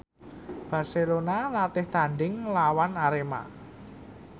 Barcelona latih tandhing nglawan Arema